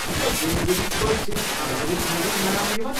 یہِ چھا ییمہِ ؤرِیكۍ پٲٹھۍ صِرف فرؤرِیَس مَنٛزٕے مناونہٕ یِوان؟